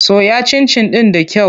Soya cincin ɗin da kyau.